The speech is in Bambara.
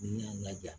N y'a laja